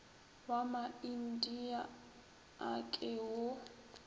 wa maindia a ke wo